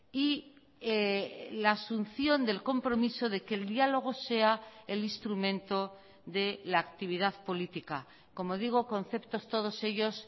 y la asunción del compromiso de que el diálogo sea el instrumento de la actividad política como digo conceptos todos ellos